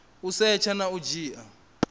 u setsha na u dzhia